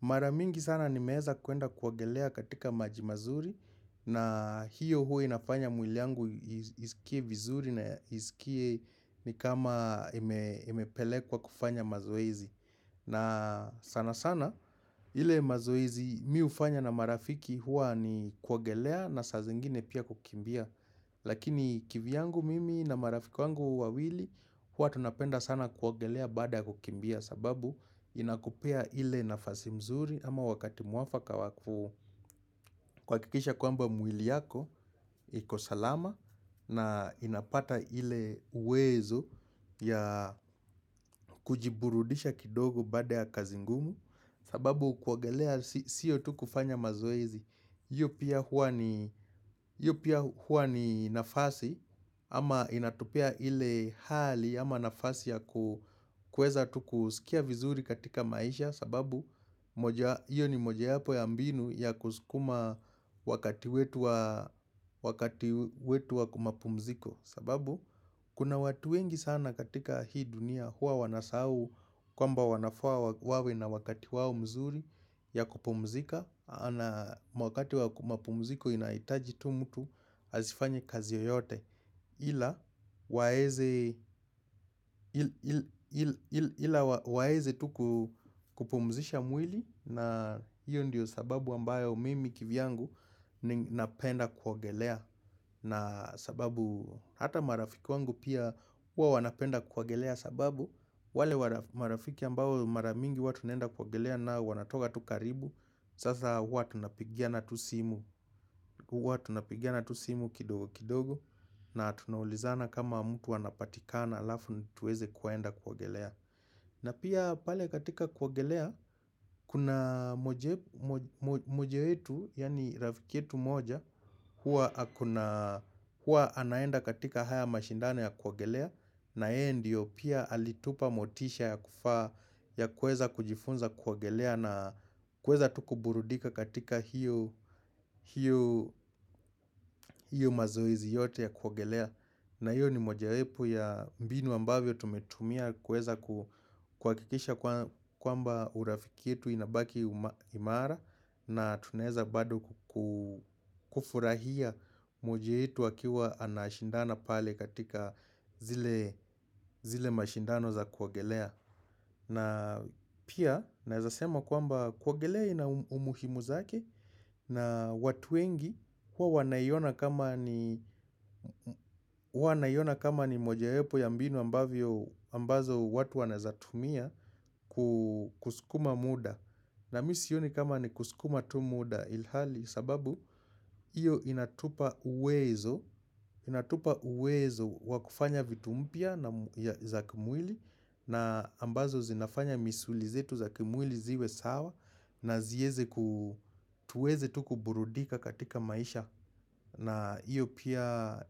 Maramingi sana nimeeza kuenda kuogelea katika maji mazuri na hiyo huwa nafanya mwili yangu isikie vizuri na isikie ni kama emepelekwa kufanya mazoezi. Na sana sana ile mazoezi mi hufanya na marafiki hua ni kuogelea na sa zingine pia kukimbia Lakini kivyangu mimi na marafiki wawili huwa tunapenda sana kuogelea baada kukimbia sababu inakupea ile nafasi mzuri ama wakati mwafaka hakikisha kwamba mwili yako iko salama na inapata ile uwezo ya kujiburudisha kidogo baada ya kazi ngumu sababu kuogelea siyo tu kufanya mazoezi, huwa pia huwa ni nafasi ama inatopea ile hali ama nafasi ya kueza tu kusikia vizuri katika maisha sababu iyo ni moja yapo ya mbinu ya kuskuma wakati wetu wa kimapumziko sababu kuna watu wengi sana katika hii dunia huwa wanasau kwa mba wanafua wawi na wakati wawo mzuri ya kupumzika na mwakati wa kumapumziko inaitaji tu mtu asifanye kazi yoyote Ila waeze tu ku kupumzisha mwili na hiyo ndiyo sababu ambayo mimi kivyangu napenda kuogelea na sababu hata marafiki wangu pia huwa wanapenda kuogelea sababu wale marafiki ambao maramingi huwa tunenda kuogelea nao wanatoka tu karibu Sasa huwa tunapigiana tu simu kidogo kidogo na tunaulizana kama mtu anapatikana alafu nituweze kuogelea na pia pale katika kuogelea kuna moja wetu yani rafiki yetu moja Huwa anaenda katika haya mashindano ya kuogelea na yeye ndio pia alitupa motisha ya kufaa ya kueza kujifunza kuogelea na kueza tu kuburudika katika hiyo mazoezi yote ya kuogelea na hiyo ni mojawepu ya mbinu ambavyo tumetumia kueza kuhakikisha kwamba urafiki yetu inabaki imara na tunaeza bado kufurahia moja yetu akiwa anashindana pale katika zile mashindano za kuogelea. Na pia naezasema kwamba kuogelea ina umuhimu zake na watu wengi huwa na iona kama ni mojawepo ya mbinu ambazo watu wanaezatumia kusukuma muda. Na mi sioni kama ni kusukuma tu muda ilhali sababu iyo inatupa uwezo wa kufanya vitu mpya za kimwili na ambazo zinafanya misuli zetu za kimwili ziwe sawa na zieze tuweze tu kuburudika katika maisha na iyo pia